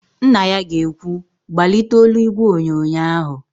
Nna ya ga-ekwu, "gbalite olu ígwèonyonyo ahụ"!.